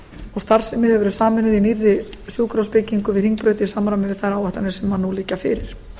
og starfsemi hefur verið sameinuð í nýrri sjúkrahúsbyggingu við hringbraut í samræmi við þær áætlanir sem nú liggja fyrir